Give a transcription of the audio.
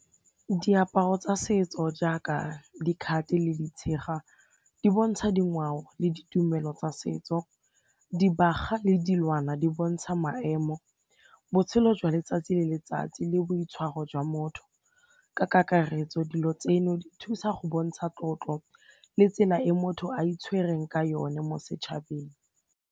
Diaparo tsa setso jaaka dikhate le ditshega di bontsha dingwao le ditumelo tsa setso, dibaga le dilwana di bontsha maemo, botshelo jwa letsatsi le letsatsi le boitshwaro jwa motho ka kakaretso dilo tseno di thusa go bontsha tlotlo le tsela e motho a itshwereng ka yone mo setšhabeng.